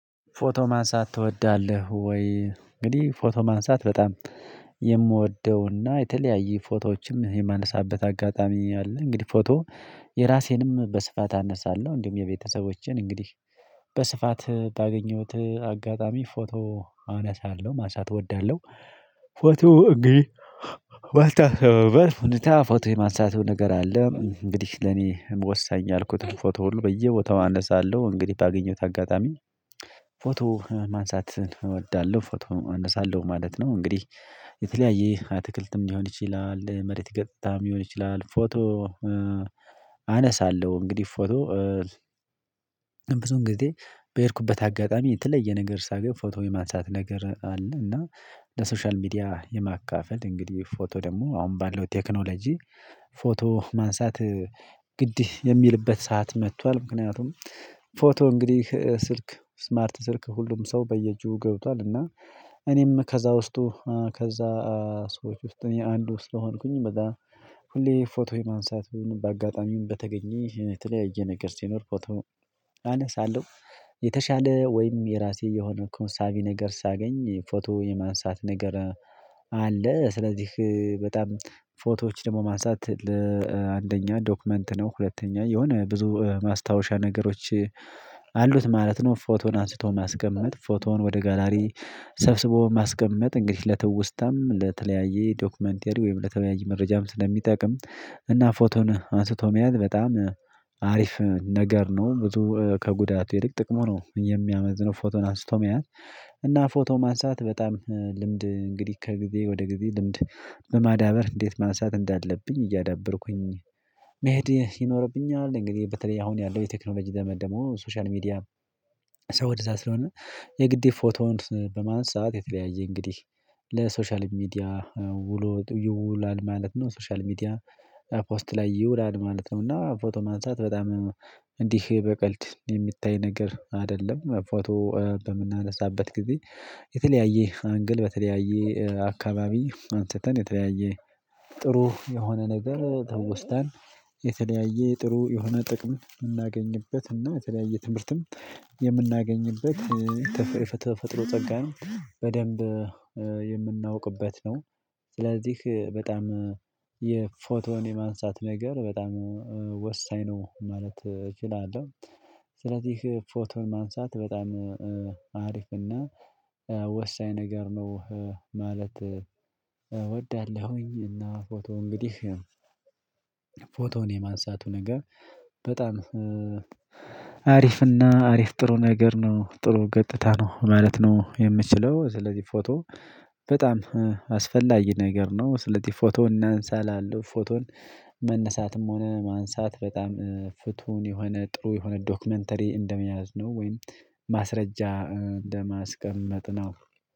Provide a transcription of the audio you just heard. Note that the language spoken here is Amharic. ፎቶ ማንሳት ትወዳለህ ወይ? እንግዲህ ፎቶ ማንሳት በጣም የምወደውና የተለያየ ፎቶዎችም የማነሳበት አጋጣሚ አለ። እንግዲህ ፎቶ የራሴንም በስፋት አነሳለሁ እንዲሁም የቤተሰቦቼን እንግዲህ በስፋት ባገኘሁት አጋጣሚ ፎቶ አነሳለሁ ማንሳት እወዳለሁ። ፎቶ እንግዲህ ባልታሰበበት ሁኔታ ፎቶ የማሳቱ ነገር አለ እንግዲህ ለኔ ወሳኝ ያልኩትን ፎቶ ሁሉ በየቦታው አነሳለሁ እንግዲህ ባገኘሁት አጋጣሚ ፎቶ ማንሳት እወዳለሁ። ፎቶ እነሳለሁ ማለት ነው። እንግዲህ የተለያየ አትክልትም ሊሆን ይችላል መሬት ገጽታም ሊሆን ይችላል ፎቶ። አነሳለሁ እንግዲህ ፎቶ ብዙ ጊዜ በሄድኩበት አጋጣሚ የተለየ ነገር ሳገኝ ፎቶ የማንሳት ነገር አለ። እና በሶሻል ሚዲያ የማካፈል እንግዲህ ፎቶ ደግሞ አሁን ባለው ቴክኖሎጂ ፎቶ ማንሳት ግድ የሚልበት ሰዓት መጥቷል። ምክንያቱም ፎቶ እንግዲህ ስልክ ስማርት ስልክ ሁሉም ሰው በየጁ ገብቷል። እና እኔም ከዛ ውስጥ ከዛ ሰዎች ውስጥ አንዱ ስለሆንኩኝ በዛ ሁሌ ፎቶ የማንሳት በአጋጣሚውን በተገኘ የተለያየ ነገር ሲኖር ፎቶ አነሳለው። ለሶሻል ሚዲያ የማካፈል እንግዲህ ፎቶ ደግሞ አሁን ባለው ቴክኖሎጂ ፎቶ ማንሳት ግድ የሚልበት ሰዓት መጥቷል ምክንያቱም ፎቶ እንግዲህ ስልክ ስማርት ስልክ ሁሉም ሰው በየጁ ገብቷል። እና አሉት ማለት ነው። ፎቶን አንስቶ ማስቀመጥ ፎቶውን ወደ ጋላሪ ሰብስቦ ማስቀመጥ እንግዲህ ለትውስታም ለተለያየ ዶክመንቴሪ ወይም ለተለያየ መረጃም ስለሚጠቅም እና ፎቶን አንስቶ መሄድ በጣም አሪፍ ነገር ነው። ብዙ ከጉዳቱ ይልቅ ጥቅሙ ነው የሚያመዝነው ፎቶን አስቶ መያዝ። እና ፎቶ ማንሳት በጣም ልምድ እንግዲህ ከጊዜ ወደ ጊዜ ልምድ በማዳበር እንዴት ማንሳት እንዳለብኝ እያዳበርኩኝ መሄድ ይኖርብኛል። እንግዲህ በተለይ አሁን ያለው የቴክኖሎጂ ዘመን ደግሞ ሶሻል ሚዲያ ሰው ወደዛ ስለሆነ የግዴ ፎቶውን በማንሳት የተለያየ እንግዲህ ለሶሻል ሚዲያ ውሎ ይውላል ማለት ነው። ሶሻል ሚዲያ ፖስት ላይ ይውላል ማለት ነው። እና ፎቶ ማንሳት በጣም እንዲህ በቀልድ የሚታይ ነገር አይደለም። ፎቶ በምናነሳበት ጊዜ የተለያየ አንግል በተለያየ አካባቢ አንስተን የተለያየ ጥሩ የሆነ ነገር ትውስታን የተለያየ ጥሩ የሆነ ጥቅም የምናገኝበት እና የተለያየ ትምህርትም የምናገኝበት ተፈጥሮ ጸጋ ነው። በደንብ የምናውቅበት ነው። ስለዚህ በጣም የፎቶን የማንሳት ነገር በጣም ወሳኝ ነው ማለት እችላለሁ። ስለዚህ ፎቶን ማንሳት በጣም አሪፍና ወሳኝ ነገር ነው። ማለት እወዳለሁኝ። እና ፎቶ እንግዲህ ፎቶውን የማንሳቱ ነገር በጣም አሪፍና አሪፍ ጥሩ ነገር ነው ጥሩ ገጥታ ነው ማለት ነው የምችለው። ስለዚህ ፎቶ በጣም አስፈላጊ ነገር ነው። ስለዚህ ፎቶ እናንሳ እላለው ፎቶን መነሳትም ሆነ ማንሳት በጣም ፍቱን የሆነ ጥሩ የሆነ ዶክመንተሪ እንደመያዝ ነው። ወይም ማስረጃ እንደማስቀመጥ ነው